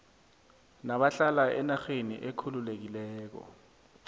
nabahlala enarheni ekhululekileko